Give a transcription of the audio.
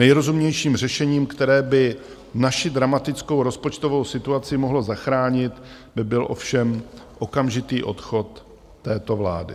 Nejrozumnějším řešením, které by naši dramatickou rozpočtovou situaci mohlo zachránit, by byl ovšem okamžitý odchod této vlády.